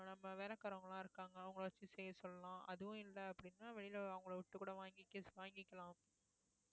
நம்ம வேலைக்காரங்க எல்லாம் இருக்காங்க அவங்களை வைச்சு செய்ய சொல்லலாம் அதுவும் இல்லை அப்படின்னா வெளியிலே அவங்களை விட்டுக் கூட வாங்கி வாங்கிக்கலாம்